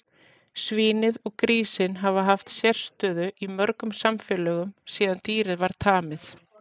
Svínið og grísinn hafa haft sérstöðu í mörgum samfélögum síðan dýrið var tamið.